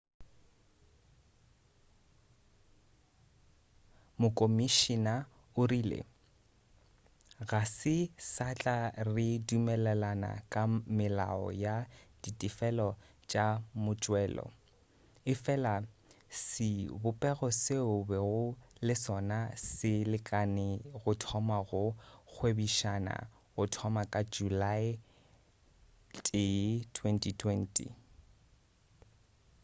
mokomišina o rile ga se satla re dumelelana ka melao ya ditefelo tša motšelo efela sebopego seo bego le sona se lekane go thoma go gwebišana go thoma ka julae 1 2020